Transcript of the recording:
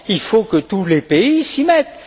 Il faut que tous les pays s'y mettent.